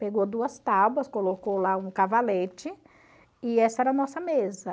Pegou duas tábuas, colocou lá um cavalete e essa era a nossa mesa.